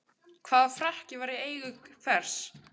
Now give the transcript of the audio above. Hvaða frakki var í eigu hvers?